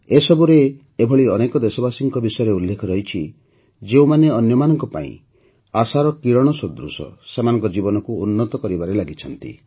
ଏସବୁରେ ଏଭଳି ଅନେକ ଦେଶବାସୀଙ୍କ ବିଷୟରେ ଉଲ୍ଲେଖ ରହିଛି ଯେଉଁମାନେ ଅନ୍ୟମାନଙ୍କ ପାଇଁ ଆଶାର କିରଣ ସଦୃଶ ସେମାନଙ୍କ ଜୀବନକୁ ଉନ୍ନତ କରିବାରେ ଲାଗିଛନ୍ତି